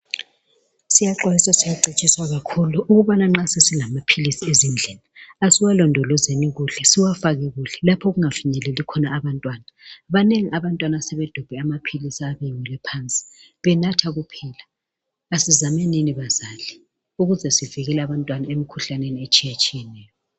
Siyaxwayiswa, siyacetshiswa kakhulu, ukubana nxa sesilamaphilisi ezindlini, asiwalondolozeni kuhle. siwafake kuhle lapho okungafinyeleli khona abantwana. Banengi abantwana asebedobhe amaphilisi, ayabe eweli phansi, benatha kuphela. Asizamenini bazali, ukuze zivikele abantwana emikhuhlaneni, etshiyatshiyeneyo.